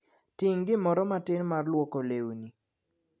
Ting' gimoro matin mar lwoko lewni.